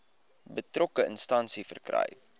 betrokke instansie verkry